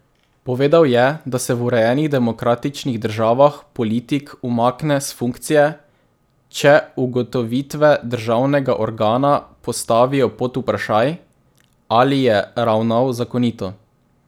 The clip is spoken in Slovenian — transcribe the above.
Povedal je, da se v urejenih demokratičnih državah politik umakne s funkcije, če ugotovitve državnega organa postavijo pod vprašaj, ali je ravnal zakonito.